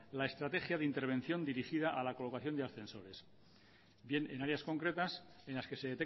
la estrategia de intervención dirigida a la colocación de ascensores bien en áreas concretas en las que se